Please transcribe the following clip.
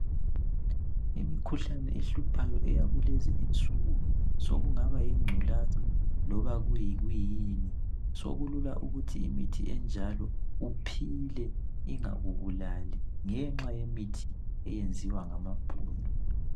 Imikhuhlane ehluphayo eyakulezinsuku sokungaba yingculaza loba yini sokulula ukuthi imikhuhlane enjalo uphile ingakubulali ngenxa yemithi eyenziwa ngamabhunu